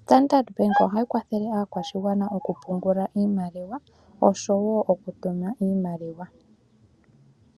Standard Bank ohayi kwathele aakwashigwana okupungula iimaliwa osho wo okutuma iimaliwa.